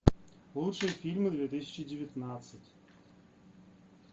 лучшие фильмы две тысячи девятнадцать